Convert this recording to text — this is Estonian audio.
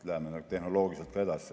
Läheme ka tehnoloogiliselt sellega edasi.